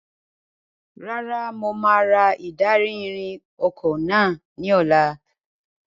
Rárá, mo máa ra ìdarí-ìrìn ọkọ̀ náà ní ọ̀la.